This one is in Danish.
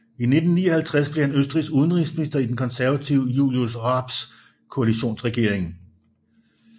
I 1959 blev han Østrigs udenrigsminister i den konservative Julius Raabs koalitionsregering